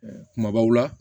Kumabaw la